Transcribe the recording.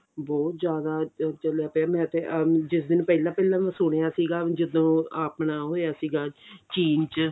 ਬਹੁਤ ਜ਼ਿਆਦਾ ਅਹ ਚੱਲਿਆ ਪਿਆ ਮੈਂ ਤੇ ਆ ਜਿਸ ਦਿਨ ਪਹਿਲਾਂ ਪਹਿਲਾਂ ਮੈਂ ਸੁਣਿਆ ਸੀਗਾ ਜਦੋਂ ਆਪਣਾ ਹੋਇਆ ਸੀਗਾ ਚੀਨ ਚ